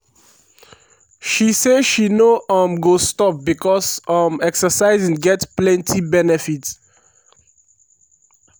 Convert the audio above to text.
she say she no um go stop becos um exercising get plenty benefit.